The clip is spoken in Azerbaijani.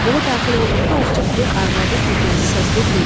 Evə daxil olduqda Ovçu Piri arvadı Gülgəzi səsləyib dedi.